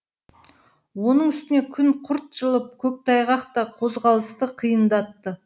оның үстіне күн жылып көктайғақ та қозғалысты қиындатты